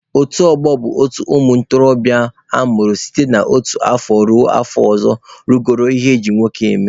Otu ọgbọ bụ otu ụmụ ntorobịa amụrụ site n'otu afọ ruo afọ ọzọ rugoro ihe eji nwoke eme.